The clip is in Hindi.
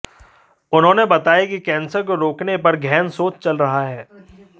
उन्होंने बताया कि कैंसर को रोकने पर गहन शोध चल रहा है